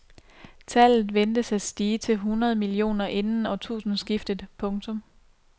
Tallet ventes at stige til hundrede millioner inden årtusindeskiftet. punktum